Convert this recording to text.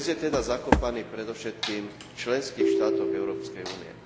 Pes je teda zakopaný predovšetkým v členských štátoch Európskej únie.